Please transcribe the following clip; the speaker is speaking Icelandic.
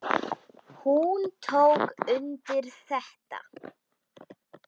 Hún tók undir þetta.